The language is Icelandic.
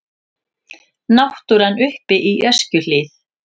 Náttúran uppi í Öskjuhlíð.